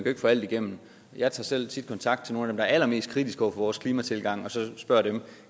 ikke få alt igennem jeg tager selv tit kontakt til nogle er allermest kritiske over for vores klimatilgang og spørger dem